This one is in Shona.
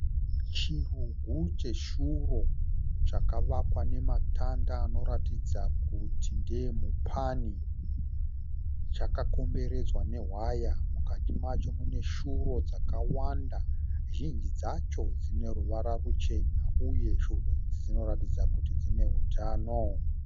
Chirugu cheshuro chakavakwa nematanda anoratidza kuti ndeeMupani. Chakakomberedzwa newhaya. Mukati macho mune shuro dzakawanda, zhinji dzacho dzine ruvara ruchena uye shuro idzi dzinoratidza kuti dziine utano.